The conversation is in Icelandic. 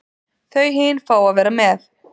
Þau hin fá að vera með.